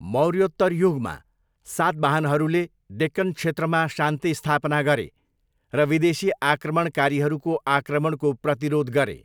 मौर्योत्तर युगमा, सातवाहनहरूले डेक्कन क्षेत्रमा शान्ति स्थापना गरे र विदेशी आक्रमणकारीहरूको आक्रमणको प्रतिरोध गरे।